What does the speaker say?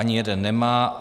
Ani jeden nemá.